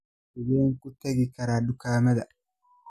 Sideen ku tagi karaa dukaamada?